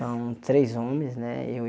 São três homens, né? E